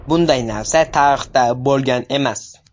Bunday narsa tarixda bo‘lgan emas.